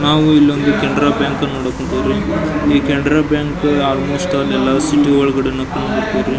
ನಾವು ಇಲ್ಲಿ ಒಂದು ಕೆನರಾ ಬ್ಯಾಂಕ್ ನೋಡಕ್ ಹೋನ್ತಿವ್ರಿ ಈ ಕೆನರಾ ಬ್ಯಾಂಕ್ ಆಲ್ಮೋಸ್ಟ್ ಅಲ್ ಏಲ್ಲ ಸಿಟಿ ಒಳಗಡೇನೆ ಕಂಡುಬರ್ತಾವ್ರಿ.